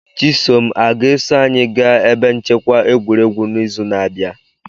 Chisom a ga-eso anyị gaa ebe nchekwa egwuregwu n'izu na-abịa?